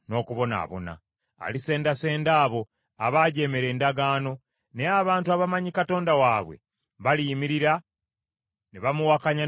Alisendasenda abo abaajeemera endagaano, naye abantu abamanyi Katonda waabwe baliyimirira ne bamuwakanya n’amaanyi.